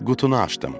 Qutunu açdım.